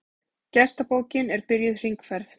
Gestabókin er byrjuð hringferð.